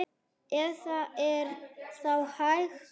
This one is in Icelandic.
Ef það er þá hægt.